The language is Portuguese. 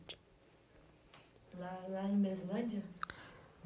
Lá, lá em meslândia?